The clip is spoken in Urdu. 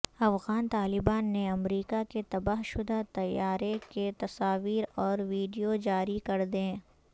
افغان طالبان نے امریکا کے تباہ شدہ طیارے کی تصاویر اور ویڈیوجاری کردیں